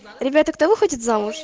ребята кто выходит замуж